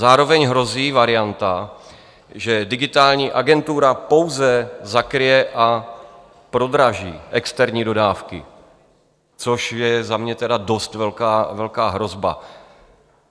Zároveň hrozí varianta, že Digitální agentura pouze zakryje a prodraží externí dodávky, což je za mě tedy dost velká hrozba.